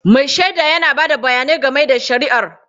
Mai shaida yana ba da bayani game da shari'ar.